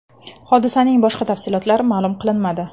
Hodisaning boshqa tafsilotlari ma’lum qilinmadi.